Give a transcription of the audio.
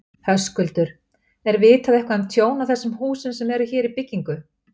Höskuldur: Er vitað um eitthvað tjón á þessum húsum sem eru hér í byggingu?